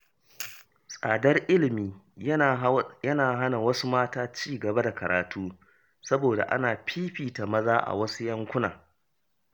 Tsadar ilimi yana hana wasu mata ci gaba da karatu, saboda ana fifita maza a wasu yankuna.